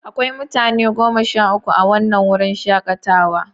Akwai mutane goma sha uku a wannan wurin shakatawa.